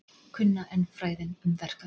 Kunna enn fræðin um verkföll